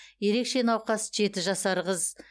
ерекше науқас жеті жасар қыз